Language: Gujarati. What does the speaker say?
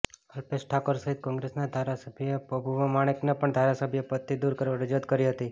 અલ્પેશ ઠાકોર સહિત કોંગ્રેસના ધારાસબ્યોએ પબુભા માણેકને પણ ધારાસભ્ય પદથી દૂર કરવા રજૂઆત કરી હતી